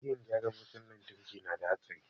Aikin gyaran wutan lantraki na da hatsari